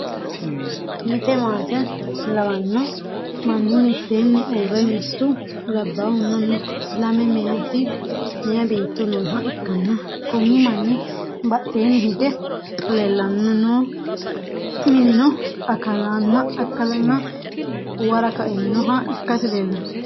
mitte maate lawanno manni mitteenni uurre mittu labbaahunna lame meyaa beetto nooha ikkanna, konni manni badheenni hige leelanno minino akkalanna uwara kainoha ikkasi leelanno.